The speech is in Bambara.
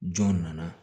Jɔn nana